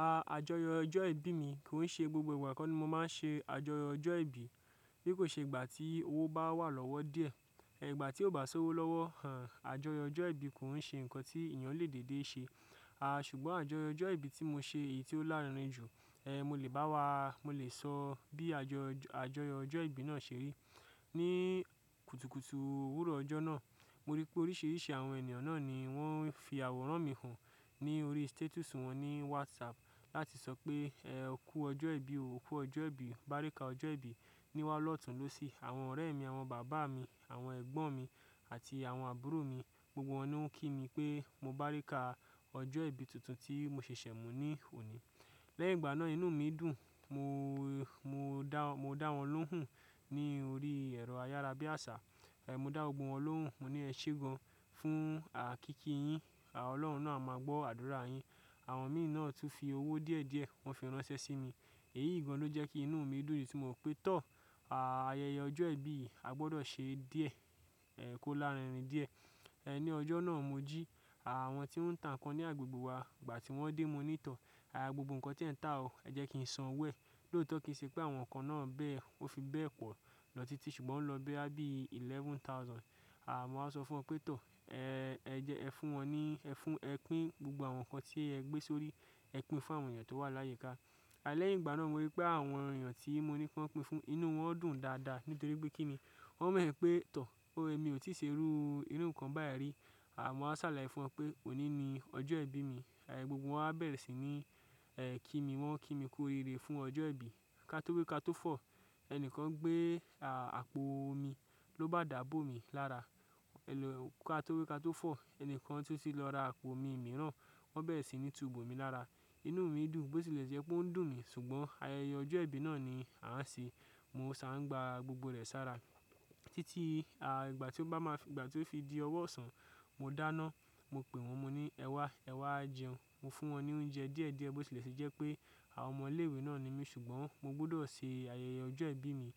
A-àjọyọ̀ ọjọ́ ìbí mi kò ń ṣe gbogbo ìgbà koni mo máa ń ṣe àjọyọ̀ ọjọ́ ìbí bí kò ṣe ìgbà tí owó bá wà lọ́wọ́ díẹ̀. Igba tí ó bá ṣówó lọ́wọ́, àń àjọyọ̀ ọjọ́ ìbí kò ń ṣe nǹkan tí ènìyàn lè dédé ṣe. A ṣùgbọ́n àjọyọ̀ ọjọ́ ìbí tí mo ṣe èyí tí ó lárinrin jù. E mo lè bá wa, mo lè sọ bí àjọ-àjọyọ̀ ọjọ́ ìbí náà ṣe rí. Ni kutukutu òwúrọ̀ ọjọ́ náà, mo rí pé oríṣiríṣi àwọn ènìyàn náà ni wọ́n ń fi àwòrán mi hàn ní orí status wọn ní WhatsApp láti sọ pé e kú ọjọ́ ìbí o, kú ọjọ́ ìbí, bárikà ọjọ́ ìbí. Niwá lọ́tun lósì àwọn ọ̀rẹ́ mi, àwọn bàbá mi, àwọn ẹ̀gbọ́n mi àti àwọn àbúrò mi, gbogbo wọn ni wọ́n ń kí mi pé mo bárikà ọjọ́ ìbí tuntun tí mo ṣẹ̀ṣẹ̀ mú ní òní. Lẹ́yìn ìgbà náà inú mi dùn, mo-mo dá-mo dá wọn lóhùn ní orí ẹ̀rọ ayárabíàṣá. E mo dá gbogbo wọn lóhùn, mo ní ẹ ṣé gan-an fún à kíki yín, Ọlọ́run náà máa gbọ́ àdúrà yín. Àwọn mi náà tún fi owó díẹ̀díẹ̀ wọ́n fi ránṣẹ́ sí mi. Èyí gan-an ló jẹ́ kí inú mi dùn tí mo rò pé tọ́, a-ayẹyẹ ọjọ́ ìbí a gbọdọ̀ ṣe díẹ̀, e kó lárinrin díẹ̀. E ní ọjọ́ náà mo jí àwọn tí wọ́n ń tà nnkan ní agbègbè wa, ìgbà tí wọ́n dé, mo ní tọ́, a gbogbo nǹkan tí ẹ ń tà o, ẹ jẹ́ kí n sanwo ẹ́. Lóòótọ́ kì í ṣe pé àwọn kan náà bẹ́ẹ̀, ó fi bẹ́ẹ̀ pọ̀ lọ títí ṣùgbọ́n ó lọ bẹ́ á bí i eleven thousand. A mo wa sọ fún wọn pé tọ́, e ẹ jẹ́ ẹ fún wọn ní, ẹ fún, ẹ pín gbogbo àwọn nnkan tí ẹ gbé sórí, ẹ pín fún àwọn èèyàn tó wà láyika. A lẹ́yìn ìgbà náà mo rí pé àwọn èèyàn tí mo ní kí wọ́n pín fún, inú wọn dùn dáadáa nítorí pé kí ni? Wọ́n mọ̀ pé tọ́, o èmi ò tíì ṣe irú nǹkan báyìí rí. A mo á sàláye fún wọn pé òní ni ọjọ́ ìbí mi. E gbogbo wọn á bẹ̀rẹ̀ sí ní ẹ kí mi, wọ́n ń kí mi ku oriire fún ọjọ́ ìbí. Kátó gbé kátó fọ̀, ẹnikan gbé a-àpò omi ló bá dàá bó mi lára. E lo kátó wi kátó fọ̀, ẹni kan tún ti lọ ra àpò omi mìíràn, wọ́n bẹ̀rẹ̀ sí ní tu bò mí lára. Inú mi dùn bó tilẹ̀ jẹ́ pé ó ń dùn mí ṣùgbọ́n ayẹyẹ ọjọ́ ìbí náà ni a ń ṣe. Mo sa n gbà gbogbo rẹ̀ sára títí a ìgbà tí ó bá máa fi-- ìgbà tí ó fi di ọwọ́ ọ̀sán, mo dánáa. Mo pè wọ́n, mo ní ẹ wá, ẹ wá jẹun. Mo fún wọn ní oúnjẹ díẹ̀díẹ̀ bó tilẹ̀ ṣe jẹ́ pé àwọn ọmọ ilé ìwé náà ni mí ṣùgbọ́n mo gbọdọ̀ ṣe ayẹyẹ ọjọ́ ìbí mi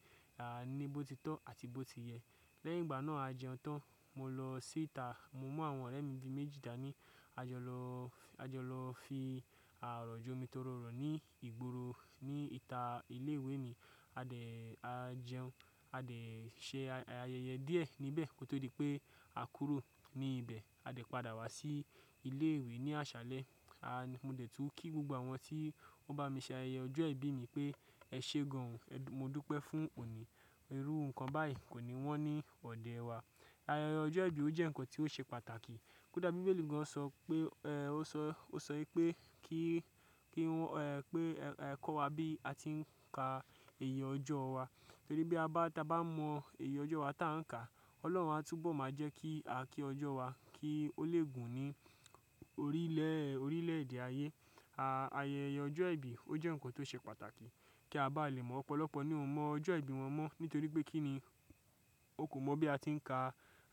a ní bó ti tọ́ àti bó ti yẹ. Lẹ́yìn ìgbà náà a jẹun tán, mo lọ síta, mo mú àwọn ọ̀rẹ́ mi bi méjì dáni, a jọ lọ, a jọ lọ fi orọ̀ jomi toro ọ́rọ́ ní ìgboro ní ìta ilé ìwé mi. A dẹ̀ a jẹun, a dẹ̀ ṣe ayẹyẹ díẹ̀ níbẹ̀ kó tó di pé a kúrò ní ibẹ̀. A dẹ̀ padà wá sí ilé ìwé ní àṣálẹ́. A mo dẹ̀ tún kí gbogbo àwọn tí wọ́n bá mi ṣe ayẹyẹ ọjọ́ ìbí mi pé ẹ ṣé gan-an, mo dúpẹ́ fún òní. Irú nǹkan báyìí kò ní wọ́n ní òde ẹ wa. Ayẹyẹ ọjọ́ ìbí o jẹ́ nnkan tí ó ṣe pàtàkì. Kódà Bíbélì gan-an ṣọ pé e ó ṣọ, ó ṣọ wípé kí, kí wọ́n e pé ẹ kọ́ wa bí a ti ń ka èyí ọjọ́ wa. Torí bí a bá, tí a bá mọ èyí ọjọ́ wa tí à ń kà, Ọlọ́run á túbọ̀ máa jẹ́ kí a kí ọjọ́ wa kí ó lè gùn ní orílẹ̀, orílẹ̀ èdè ayé. A ayẹyẹ ọjọ́ ìbí ó jẹ́ nnkan tó ṣe pàtàkì kí a bá lè mọ́ ọ̀pọ̀lọpọ̀ ní ò mọ ọjọ́ ìbí wọn mọ́ nítorí pé kí ni? Won kò mọ bí a ti ń ka,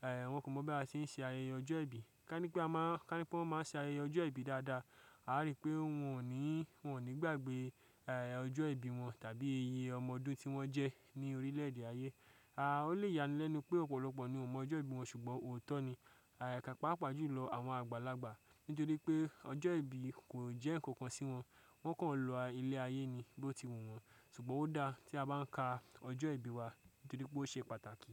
ẹ wọ́n kò mọ bí a ti ń ṣe ayẹyẹ ọjọ́ ìbí. Ká ní pé a máa, ká ní pé wọ́n máa ṣe ayẹyẹ ọjọ́ ìbí dáadáa, a rí pé wọn ò ní, wọn ò ní gbàgbé ẹ ọjọ́ ìbí wọn tàbí iye ọmọ ọdún tí wọ́n jẹ́ ní orílẹ̀ èdè ayé. A ó lè yán lénu pé ọ̀pọ̀lọpọ̀ ni ò mọ ọjọ́ ìbí wọn ṣùgbọ́n òótọ́ ni. Agagpla pàápàá jù lọ àwọn àgbàlagbà nítorí pé ọjọ́ ìbí kò jẹ́ nnkan kan sí wọn, wọ́n kàn lọ ilé ayé ni bó ti wù wọ́n. Ṣùgbọ́n ó dáa tí a bá ń ka ọjọ́ ìbí wa nítorí pé ó ṣe pàtàkì.